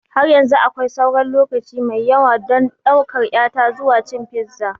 Har yanzu akwai sauran lokaci mai yawa don ɗaukar ƴata zuwa cin fiza.